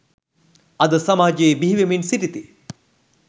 අද සමාජයේ බිහිවෙමින් සිටිති.